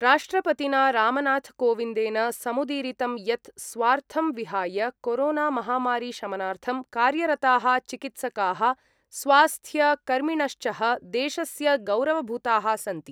राष्ट्रपतिना रामनाथ कोविंदेन समुदीरिंत यत् स्वार्थं विहाय कोरोनामहामारीशमनार्थं कार्यरता: चिकित्सका: स्वास्थ्यकर्मिणश्च: देशस्य गौरवभूताः सन्ति।